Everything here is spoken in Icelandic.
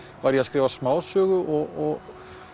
var ég að skrifa smásögu og